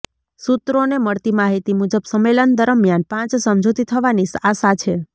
સૂત્રોને મળતી માહિતી મુજબ સંમેલન દરમિયાન પાંચ સમજૂતિ થવાની આશા છે